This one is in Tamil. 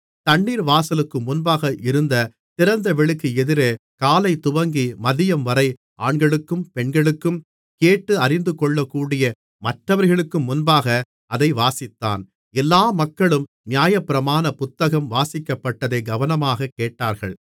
தண்ணீர் வாசலுக்கு முன்பாக இருந்த திறந்தவெளிக்கு எதிரே காலைதுவங்கி மதியம்வரை ஆண்களுக்கும் பெண்களுக்கும் கேட்டு அறிந்துகொள்ளக்கூடிய மற்றவர்களுக்கும் முன்பாக அதை வாசித்தான் எல்லா மக்களும் நியாயப்பிரமாண புத்தகம் வாசிக்கப்பட்டதை கவனமாகக் கேட்டார்கள்